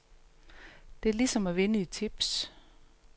Det er lige som at vinde i tips.